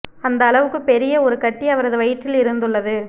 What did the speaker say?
அந்த அளவுக்கு பெரிய ஒரு கட்டி அவரது வயிற்றில் இருந்துள்ளது